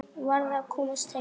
Varð að komast heim.